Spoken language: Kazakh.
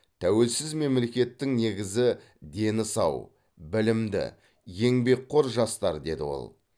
тәуелсіз мемлекеттің негізі дені сау білімді еңбекқор жастар деді ол